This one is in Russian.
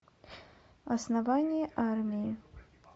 основание армии